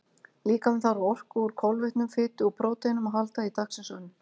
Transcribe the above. Líkaminn þarf á orku úr kolvetnum, fitu og próteinum að halda í dagsins önn.